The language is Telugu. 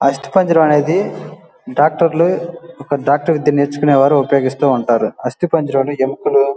ఆస్థి పంజరం అనేది డాక్టర్ లు డాక్టర్ వృత్తి నేర్చుకునేవారు ఉపాయిగిస్తూ ఉంటారు ఆస్థి పంజరం ఎముకలు --